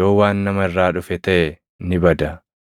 yoo waan nama irraa dhufe taʼe ni bada.